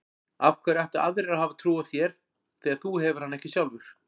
Af hverju ættu aðrir að hafa trú á þér þegar þú hefur hana ekki sjálfur?